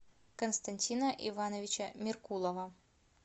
константина ивановича меркулова